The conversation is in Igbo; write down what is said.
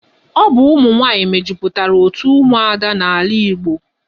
Ọ bụ ụmụ nwaanyị mejupụtara otu ụmụada n'ala Igbo.